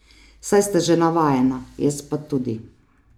Saj sta že navajena, jaz pa tudi.